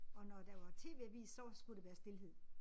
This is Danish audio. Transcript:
Og når der var TV-avis så var skulle det være stilhed